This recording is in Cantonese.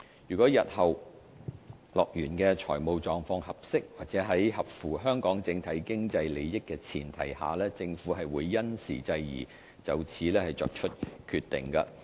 若日後樂園的財務狀況合適及在符合香港整體經濟利益的前提下，政府會因時制宜，就此作出考慮。